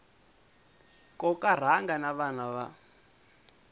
koka rhanga na vana va